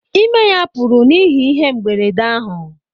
Ime ya pụrụ n’ihi ihe mberede ahụ